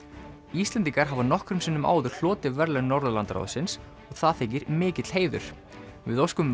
Íslendingar hafa nokkrum sinnum áður hlotið verðlaun Norðurlandaráðsins og það þykir mikill heiður við óskum